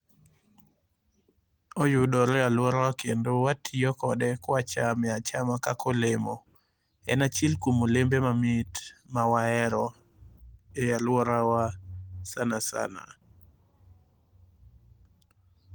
Oyudore e aluorawa kendo watiyo kode kwachame achama kaka olemo. En achiel kuom olembe mamit mawahero e aluorawa sana sana